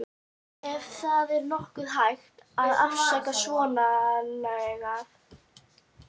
Ef það er nokkuð hægt að afsaka svonalagað.